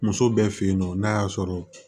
Muso bɛɛ fe yen nɔ n'a y'a sɔrɔ